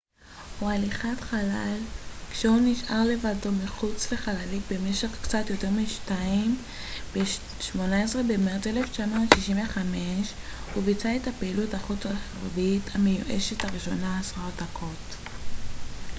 "ב-18 במרץ 1965 הוא ביצע את הפעילות החוץ רכבית המאוישת הראשונה eva או "הליכת חלל" כשהוא נשאר לבדו מחוץ לחללית במשך קצת יותר משתיים עשרה דקות.